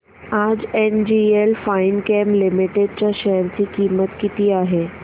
आज NGL finechem limited च्या share ची किंमत किती आहे